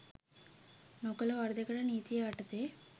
නොකළ වරදකට නීතිය යටතේ